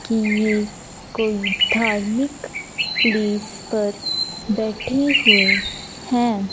कि ये कोई धार्मिक प्लेस पर बैठे हुए हैं।